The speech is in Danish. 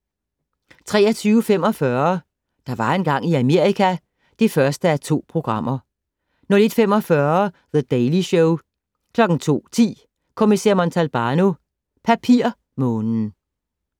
23:45: Der var engang i Amerika (1:2) 01:45: The Daily Show 02:10: Kommissær Montalbano: Papirmånen